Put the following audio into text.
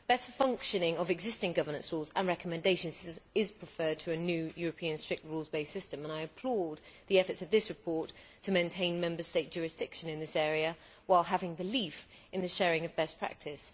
Better functioning of existing governance rules and recommendations is preferred to a new European strict rules based system and I applaud the efforts of this report to maintain Member State jurisdiction in this area while having belief in the sharing of best practice.